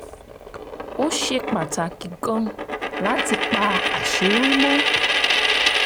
ó ṣe pàtàkì gan-an láti pa àṣírí mọ́